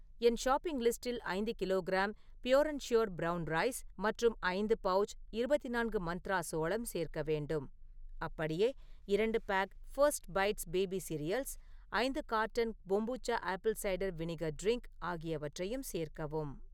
என் shopping லிஸ்டில் ஐந்து kilogram pure and sure brown rice மற்றும் ஐந்து பவுச் இருபத்தி நான்கு மந்த்ரா சோளம் சேர்க்க வேண்டும். அப்படியே, இரண்டு pack first bites baby cereals , ஐந்து carton kombucha apple cider vinegar drink ஆகியவற்றையும் சேர்க்கவும்.